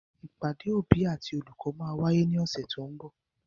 Ìpàdé òbí àti olùkọ́ máa wáyé ní ọ̀sẹ̀ to ń bọ̀.